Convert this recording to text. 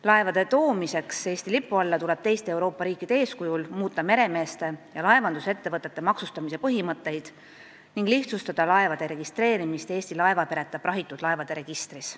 Laevade toomiseks Eesti lipu alla tuleb teiste Euroopa riikide eeskujul muuta meremeeste ja laevandusettevõtete maksustamise põhimõtteid ning lihtsustada laevade registreerimist Eesti laevapereta prahitud laevade registris.